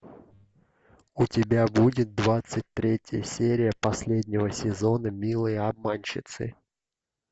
у тебя будет двадцать третья серия последнего сезона милые обманщицы